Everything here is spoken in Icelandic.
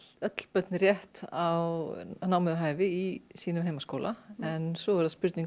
öll börn rétt á námi við hæfi í sínum heimaskóla en svo er það spurning